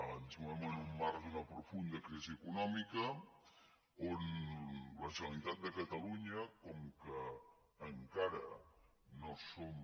ens movem en un marc d’una profunda crisi econòmica on la generalitat de catalunya com encara no som